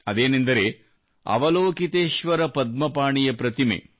ಅದೇನೆಂದರೆ ಅವಲೋಕಿತೇಶ್ವರ ಪದ್ಮಪಾಣಿಯ ಪ್ರತಿಮೆ